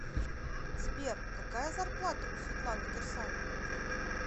сбер какая зарплата у светланы кирсановой